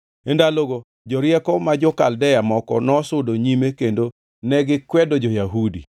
E ndalogo jorieko ma jo-Kaldea moko nosudo nyime kendo negikwedo jo-Yahudi.